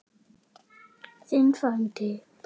Þinn frændi, Bergur.